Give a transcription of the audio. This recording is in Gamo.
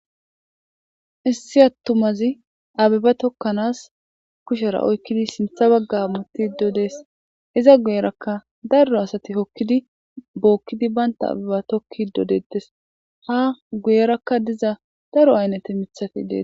Issi atummazi abeba tokanas kushera oyikidi sinta baga hamutido des iza guyeraka daro asati hokidi bokidi banta abeba tokidi detes ha guyeraka diza dari ayinete mitati dete.